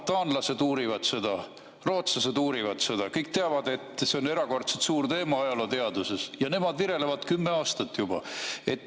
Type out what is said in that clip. Taanlased uurivad seda, rootslased uurivad, kõik teavad, et see on erakordselt suur teema ajalooteaduses, aga virelevad kümme aastat juba.